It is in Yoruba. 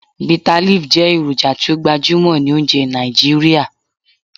Bitterleaf jẹ eroja ti o gbajumọ ni ounjẹ Naijiria.